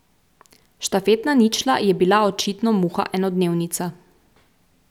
Štafetna ničla je bila očitno muha enodnevnica.